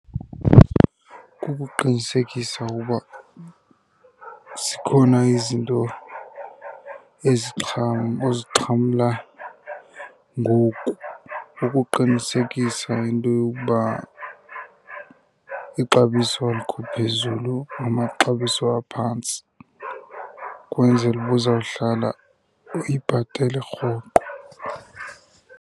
Kukuqinisekisa uba zikhona izinto ozixhamla ngoku, ukuqinisekisa into yokuba ixabiso alikho phezulu namaxabiso aphantsi, ukwenzela uba uzawuhlala uyibhatele rhoqo.